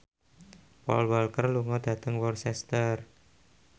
Paul Walker lunga dhateng Worcester